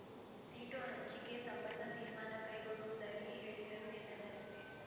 seat ಹಂಚಿಕೆ ಸಂಬಂಧ ತೀರ್ಮಾನ ಕೈಗೊಳ್ಳುವುದಾಗಿ ಹೇಳಿದರು ಎನ್ನಲಾಗಿದೆ